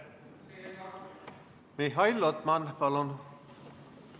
Mihhail Lotman, palun!